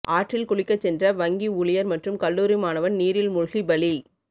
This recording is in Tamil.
ஆற்றில் குளிக்கச் சென்ற வங்கி ஊழியர் மற்றும் கல்லூரி மாணவன் நீரில் மூழ்கி பலி